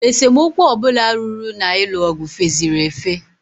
Esemokwu ọbụla ruru na-ịlụ ọgụ feziri efe.